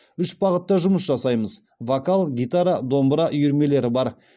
үш бағытта жұмыс жасаймыз вокал гитара домбыра үйірмелері бар